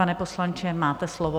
Pane poslanče, máte slovo.